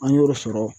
An y'o sɔrɔ